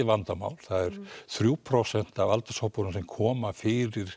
vandamál það er þrjú prósent af aldurshópunum sem koma fyrir